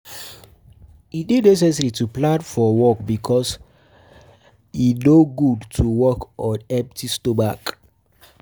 E de necessary to plan for work because for work because e no good to work on empty stomach